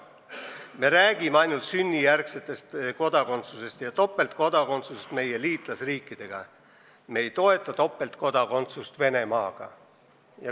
Me räägime ainult sünnijärgsetest kodanikest ja topeltkodakondsusest meie liitlasriikidega, me ei toeta topeltkodakondsust Venemaaga.